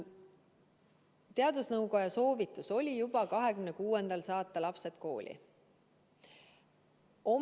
Teadusnõukoja soovitus oli saata juba 26. aprillil lapsed kooli.